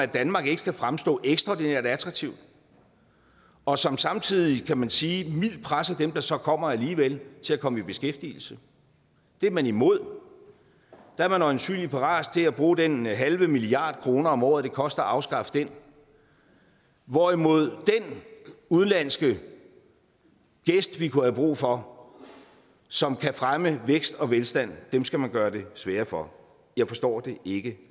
danmark ikke fremstår ekstraordinært attraktivt og som samtidig kan man sige mildt presser dem der så kommer alligevel til at komme i beskæftigelse det er man imod der er man øjensynlig parat til at bruge den halve milliard kroner om året det koster at afskaffe den hvorimod de udenlandske gæster vi kunne have brug for som kan fremme vækst og velstand skal man gøre det sværere for jeg forstår det ikke